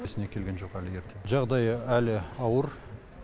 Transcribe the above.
есіне келген жоқ әлі ерте жағдайы әлі ауыр